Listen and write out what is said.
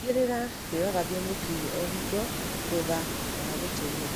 Tigĩrĩra nĩũrathambia mũkinyĩ o hingo hutha wa gũtũmĩra.